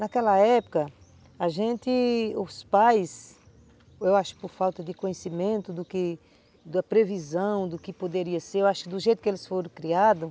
Naquela época, a gente, os pais, eu acho por falta de conhecimento do que, da previsão do que poderia ser, eu acho que do jeito que eles foram criados,